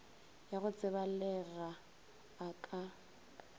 ya go tsebalega a ka